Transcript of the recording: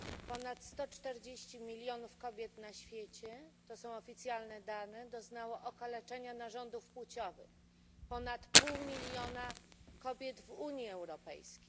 Ponad 140 milionów kobiet na świecie to są oficjalne dane doznało okaleczenia narządów płciowych, ponad pół miliona kobiet w Unii Europejskiej.